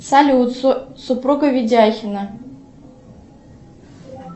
салют супруга видяхина